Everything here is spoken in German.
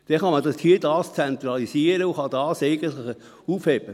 Dann kann man dies dort zentralisieren und kann das eigentlich aufheben.